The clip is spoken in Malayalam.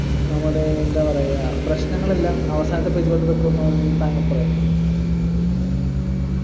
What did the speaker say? നമ്മുടെ എന്താ പറയാ പ്രശ്നങ്ങളെല്ലാം അവസാനത്തെ page ലോട്ട് വെക്കുന്നു എന്ന് താങ്കൾ പറയുന്നെ